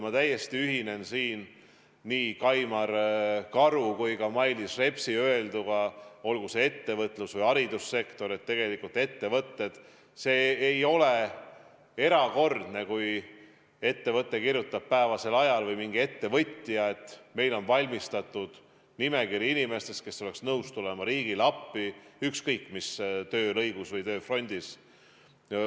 Ma täiesti ühinen nii Kaimar Karu kui ka Mailis Repsi öelduga, et olgu see ettevõtlus- või haridussektor, ei ole erakordne, kui ettevõtja kirjutab, et neil on ette valmistatud nimekiri inimestest, kes oleks nõus tulema riigile appi ükskõik mis töölõigus või tööfrondil.